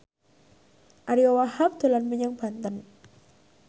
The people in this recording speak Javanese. Ariyo Wahab dolan menyang Banten